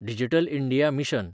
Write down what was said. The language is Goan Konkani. digital India mission